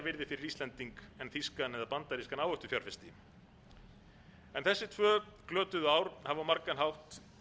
fyrir íslending en þýskan eða bandarískan áhættufjárfesti þessi tvö glötuðu ár hafa á margan hátt verið